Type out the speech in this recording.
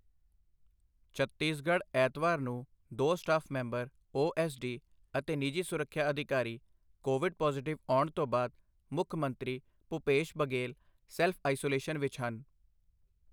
ਛੱਤੀਸਗੜ੍ਹ ਐਤਵਾਰ ਨੂੰ ਦੋ staff member O S D ਅਤੇ ਨਿਜੀ ਸੁਰੱਖਿਆ ਅਧਿਕਾਰੀ ਕੋਵਿਡ ਪੌਜ਼ਿਟਿਵ ਆਉਣ ਤੋਂ ਬਾਅਦ ਮੁੱਖ ਮੰਤਰੀ ਭੁਪੇਸ਼ ਬਘੇਲ ਸੈਲਫ਼ ਆਈਸੋਲੇਸ਼ਨ ਵਿੱਚ ਹਨ।